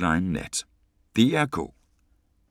DR K